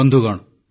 ବନ୍ଧୁଗଣ